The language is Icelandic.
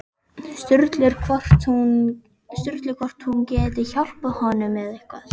Sturlu hvort hún geti hjálpað honum með eitthvað.